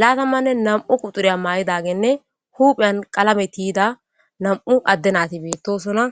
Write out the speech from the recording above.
laatamanne nam7u quxuriya maa7idagenne huupheyan qalametiyida nam7u adde naati beettosona